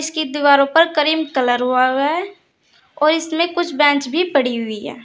इसकी दीवारों पर करीम कलर हुआ हुआ है और इसमें कुछ बेंच भी पड़ी हुई है।